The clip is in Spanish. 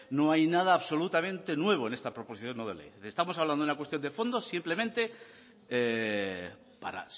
no hay nada absolutamente nuevo en esta proposición no de ley estamos hablando de una cuestión de fondo simplemente para